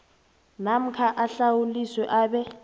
namkha ahlawuliswe abe